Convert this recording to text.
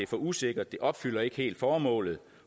for usikkert det opfylder ikke helt formålet